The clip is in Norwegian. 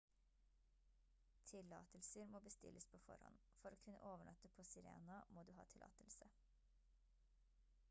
tillatelser må bestilles på forhånd for å kunne overnatte på sirena må du ha tillatelse